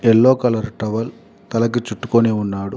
Yellow colour towel తలకి చుట్టుకుని ఉన్నాడు.